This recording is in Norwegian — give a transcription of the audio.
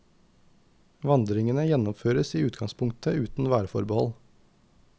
Vandringene gjennomføres i utgangspunktet uten værforbehold.